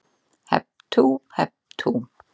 HEP TÚ, HEP TÚ